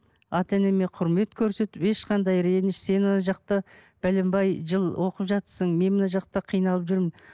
ата енеме құрмет көрсетіп ешқандай реніш сен жақта бәленбай жыл оқып жатырсың мен мына жақта қиналып жүрмін